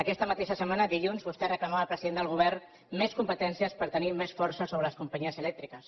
aquesta mateixa setmana dilluns vostè reclamava al president del govern més competències per tenir més força sobre les companyies elèctriques